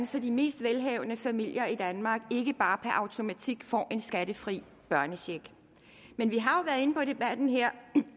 så de mest velhavende familier i danmark ikke bare per automatik får en skattefri børnecheck men vi har jo været inde på i debatten her